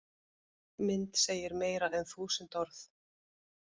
Mynd segir meira en þúsund orð